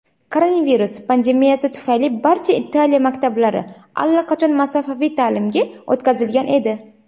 Koronavirus pandemiyasi tufayli barcha Italiya maktablari allaqachon masofaviy ta’limga o‘tkazilgan edi.